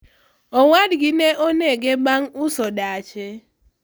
owadgi ne onege bang' uso dache